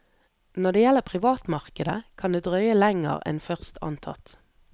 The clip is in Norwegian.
Når det gjelder privatmarkedet, kan det drøye lenger en først antatt.